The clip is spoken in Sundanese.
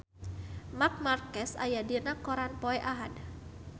Marc Marquez aya dina koran poe Ahad